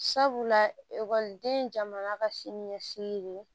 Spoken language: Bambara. Sabula ekɔliden jamana ka siniɲɛsigi ye